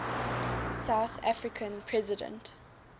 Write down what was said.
south african president